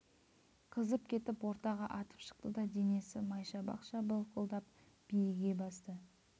қызып кетіп ортаға атып шықты да денесі майшабақша былқылдап биіге басты